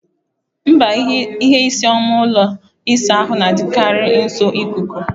Mba, ihe isii oma ụlọ ịsa ahụ na-adịkarị nso ikuku.